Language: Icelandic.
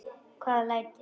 Hvaða læti?